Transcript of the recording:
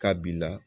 K'a b'i la